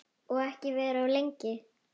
Og ekki vera of lengi.